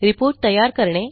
reportतयार करणे